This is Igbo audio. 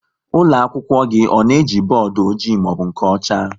Ụlọakwụkwọ gị ọ na-eji bọọdụ ọjị maọbụ nke ọcha?